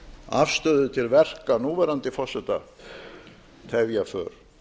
afstöðu til verka núverandi forseta tefja för